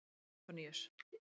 Antoníus